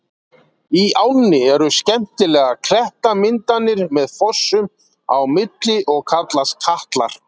Í ánni eru skemmtilegar klettamyndanir með fossum á milli og kallast Katlar.